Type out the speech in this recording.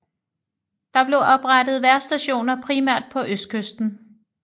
Der blev oprettet vejrstationer primært på østkysten